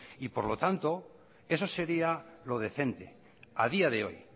y por lo tanto eso seria lo decente a día de hoy